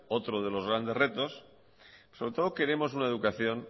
otro de los grandes retos sobre todo queremos una educación